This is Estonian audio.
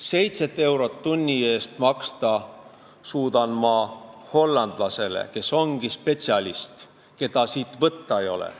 7 eurot tunni eest suudan ma maksta hollandlasele, kes on spetsialist ja keda mul siit võtta ei ole.